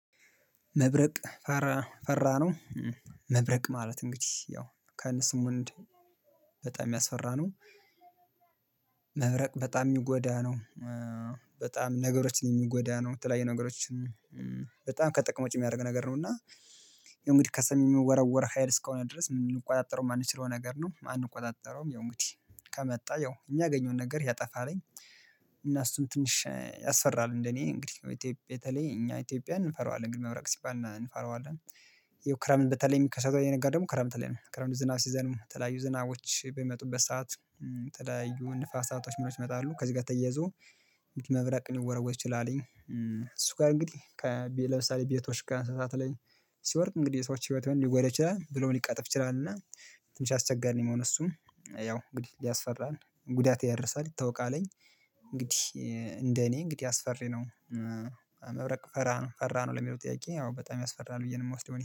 መብረቅ ፈራ ፈራ ነው? መብረቅ ማለት እንግዲህ ያው ከነስሙ እንደ በጣም የሚያስፈራ ነው። መብረቅ በጣም የሚጎዳ ነው። በጣም ነገሮችን የሚጎዳ ነው። የተለያየ ነገሮችን በጣም ከጥቅም ውጪ የሚያደርግ ነገር ነው እና እንግዲህ ከሰሚ የሚወረወር ሀይል እስከሆነ ድረስ የማንቆጣጠረው የማንችለው ነገር ነው። አንቆጣጠረውም ያው እግዲህ ከመጣ ያው የሚያገኘውን ነገር ያጠፋልኝ እና እሱን ትንሽ ያስፈራል እንደኔ እንግዲህ በተለይ እኛ ኢትዮጵያን እንፈራዋለን ግን መብረቅ ሲባል እንፈራዋለን። ይሄው ክረምት እንደተለየ የሚከሰቱ የነገር ደግሞ ክረምት ላይ ነው ክረምት ዝናብ ሲዘንም ተለያዩ ዝናቦች በሚመጡበት ሰዓት ተለያዩ ንፋሳቶች ይመጣሉ ከዚህ ጋር ተያይዞ መብራቅ እንወረወጥ ትችላለኝ እሱ ጋር እንግዲህ ለምሳሌ ቤቶች ጋር አንስታት ላይ ሲወርድ እንግዲህ ሰዎች ህይወቴን ሊጎዳ ይችላል ብሎ ሊቀጥፍ ይችላል እና ትንሽ አስቸጋሪ ነው የምሆነው እሱም ያው እንግዲህ ሊያስፈራን ጉዳት ያረሳል ይታወቃልኝ እንግዲህ እንደ እኔ እንግዲህ አስፈሪ ነው መብረቅ ፈራ ነው ፈራ ነው ለሚለው ጥያቄ ያው በጣም ያስፈራል ብዬ ነው የምወስደው